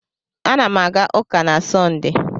Ana m aga ụka na Sọnde.